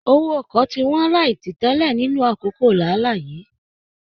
Owó ọkọ tí wọn láì titẹlẹ nínú àkókò lààlá yìí.